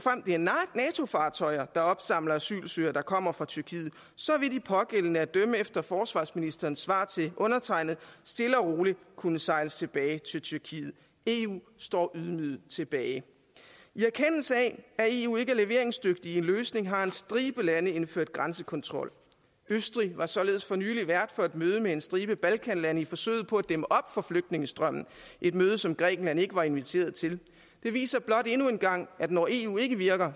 fartøjer der opsamler asylansøgere der kommer fra tyrkiet så vil de pågældende at dømme efter forsvarsministerens svar til undertegnede stille og roligt kunne sejles tilbage til tyrkiet eu står ydmyget tilbage i erkendelse af at eu ikke er leveringsdygtigt i løsninger har en stribe lande indført grænsekontrol østrig var således for nylig vært for et møde med en stribe balkanlande i forsøget på at dæmme op for flygtningestrømmen et møde som grækenland ikke var inviteret til det viser blot endnu en gang at når eu ikke virker